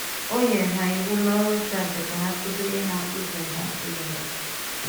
Ó nye hà Íwù na ọ̀rụ̀ nchụ̀àjà ka hà kụ́zièré hà ǹzọ̀ hà ǹzọ̀ ya.